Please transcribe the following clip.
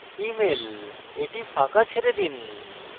emailএটি ফাঁকা ছেড়ে দিন